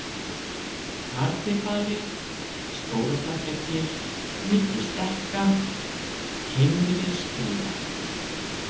Harðibali, Stórastekkjargil, Milli Stekka, Heimri-Skriða